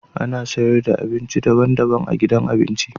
Ana sayar da abinci daban-daban a gidan abinci.